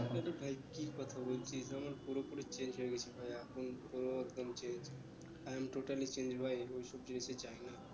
ভাই কি কথা বলছিস আমার পুরো পুরি change হয়ে গেছি ভাই এখন তো একদম change I am totally change ভাই ওই সব জিনিসে যাই না